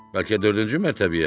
Bəlkə dördüncü mərtəbəyə?